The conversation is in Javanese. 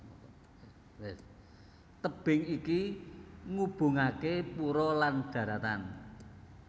Tebing iki ngubungaké pura lan dharatan